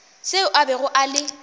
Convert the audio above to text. seo a bego a le